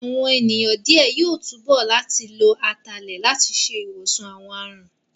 Àwọn ènìyàn díẹ̀ yóò túbọ̀ láti lo Atalẹ̀ láti ṣe ìwòsàn àwọn àrùn